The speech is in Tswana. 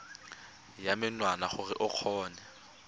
ya menwana gore o kgone